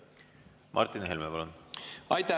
Martin Helme, palun!